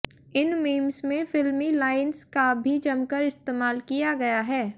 इन memes में फिल्मी lines का भी जमकर इस्तेमाल किया गया हैं